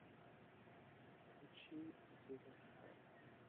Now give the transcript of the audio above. включи зиверт лайф